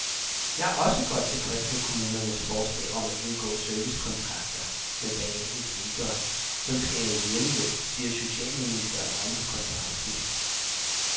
Jeg er også godt tilfreds med kommunernes forslag om at indgå servicekontrakter med hver enkelt ældre, som skal have hjemmehjælp, siger socialministeren oven på konferencen.